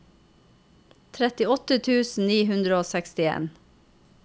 trettiåtte tusen ni hundre og sekstien